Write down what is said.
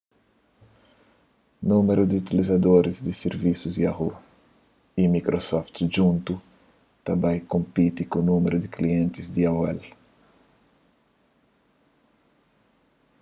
númeru di utilizadoris di sirvisus yahoo y microsoft djuntu ta bai konpiti ku númeru di klientis di aol